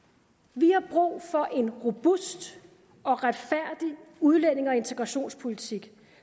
vi har brug for en robust og retfærdig udlændinge og integrationspolitik